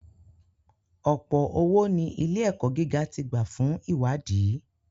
Ọ̀̀pọ̀ owó ní ilé-ẹ̀kọ́ gíga ti gbà fún iṣẹ́-ìwádìí.